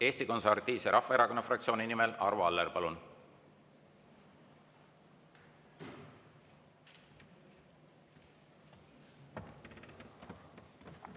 Eesti Konservatiivse Rahvaerakonna fraktsiooni nimel Arvo Aller, palun!